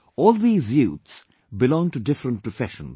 All these youths belong to different professions